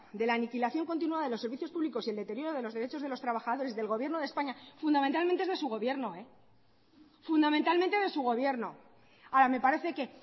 de la aniquilación continua de los servicios públicos y el deterioro de los derechos de los trabajadores del gobierno de españa fundamentalmente es de su gobierno fundamentalmente de su gobierno ahora me parece que